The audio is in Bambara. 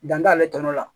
Dan t'ale tɔlo la